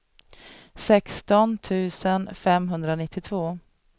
sexton tusen femhundranittiotvå